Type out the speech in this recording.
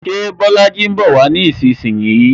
Ṣé Bolaji ń bowa nísinsìnyí?